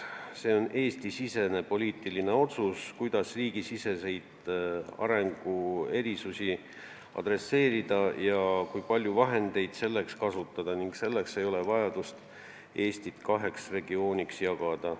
See on Eesti-sisene poliitiline otsus, kuidas riigisiseseid arenguerisusi adresseerida ja kui palju vahendeid selleks kasutada, selleks ei ole vajadust Eestit kaheks regiooniks jagada.